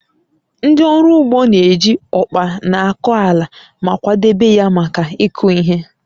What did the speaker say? Ndị ọrụ ugbo na-eji ọkpa na-akọ ala ma kwadebe ya maka ịkụ ihe